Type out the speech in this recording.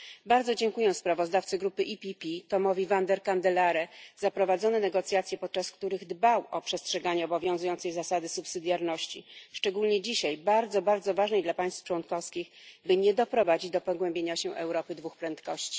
Bardzo dziękuję sprawozdawcy grupy PPE Tomowi Vandenkendelaere za prowadzone negocjacje, podczas których dbał o przestrzeganie obowiązującej zasady subsydiarności, szczególnie dzisiaj bardzo, bardzo ważnej dla państw członkowskich, by nie doprowadzić do pogłębienia się Europy dwóch prędkości.